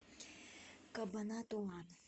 кабанатуан